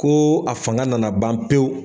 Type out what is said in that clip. Ko a fanga nana ban pewu.